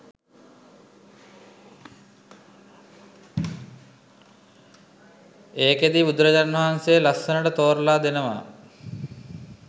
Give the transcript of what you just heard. ඒකෙදි බුදුරජාණන් වහන්සේ ලස්සනට තෝරලා දෙනවා